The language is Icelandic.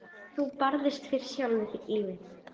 Þú barðist fyrir sjálfu lífinu.